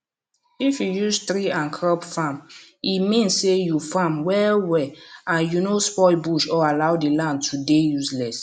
if you use tree and crop farme mean say u farm well well and u no spoil bush or allow the land to dey useless